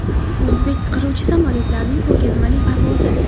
O‘zbek qiruvchi samolyotlarining ko‘rgazmali parvozi.